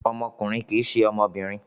Ọmọkùnrin kì í ṣe ọmọbìnrin.